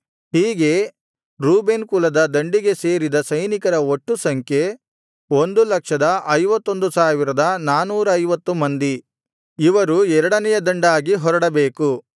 ಹೀಗೆ ರೂಬೇನ್ ಕುಲದ ದಂಡಿಗೆ ಸೇರಿದ ಸೈನಿಕರ ಒಟ್ಟು ಸಂಖ್ಯೆ 151450 ಮಂದಿ ಇವರು ಎರಡನೆಯ ದಂಡಾಗಿ ಹೊರಡಬೇಕು